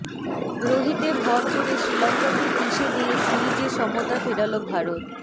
রোহিতে ভর করে শ্রীলঙ্কাকে পিষে দিয়ে সিরিজে সমতা ফেরাল ভারত